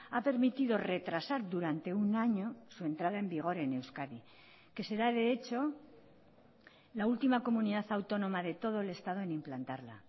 ha permitido retrasar durante un año su entrada en vigor en euskadi que será de hecho la última comunidad autónoma de todo el estado en implantarla